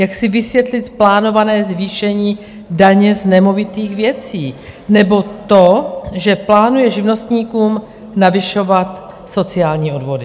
Jak si vysvětlit plánované zvýšení daně z nemovitých věcí nebo to, že plánuje živnostníkům navyšovat sociální odvody?